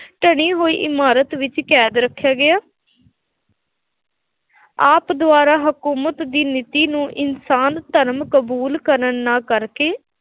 ਧਲੀ ਹੋਈ ਇਮਾਰਤ ਵਿੱਚ ਕੈਦ ਰੱਖਿਆ ਗਿਆ ਆਪ ਦੁਆਰਾ ਹਕੂਮਤ ਦੀ ਨੀਤੀ ਨੂੰ ਇਨਸਾਨ ਧਰਮ ਕਬੂਲ ਕਰਨ ਨਾ ਕਰਨ ਕਰਕੇ